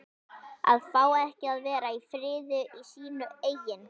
AÐ FÁ EKKI AÐ VERA Í FRIÐI Í SÍNU EIGIN